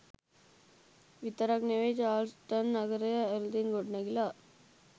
විතරක් නෙවෙයි චාල්ස්ටන් නගරය අලුතින් ගොඩනැගිලා